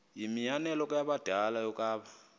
yimianelo yabadala yokaba